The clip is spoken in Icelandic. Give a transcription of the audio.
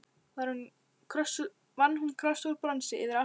Vann hún kross úr bronsi yfir altarið.